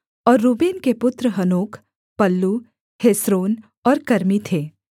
और रूबेन के पुत्र हनोक पल्लू हेस्रोन और कर्मी थे